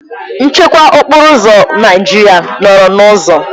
Nchekwa okporo ụzọ Naijiria nọrọ n'ụzọ